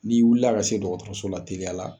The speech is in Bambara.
N'i wuli la ka se dɔgɔtɔrɔso la teliya la